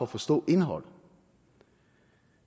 forstå indholdet